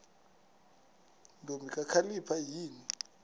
ntombi kakhalipha yini